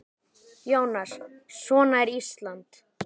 Jónas: Svona er Ísland?